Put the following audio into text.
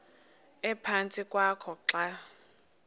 ephantsi kwakho xa